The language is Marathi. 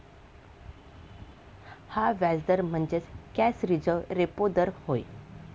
हा व्याजदर म्हणजेच कॅश रिझर्व्ह रेपो दर होय.